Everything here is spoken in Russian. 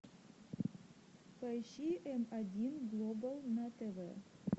поищи м один глобал на тв